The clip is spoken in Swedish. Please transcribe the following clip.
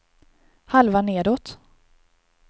halva nedåt